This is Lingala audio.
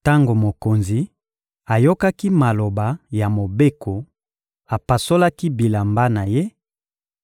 Tango mokonzi ayokaki maloba ya Mobeko, apasolaki bilamba na ye,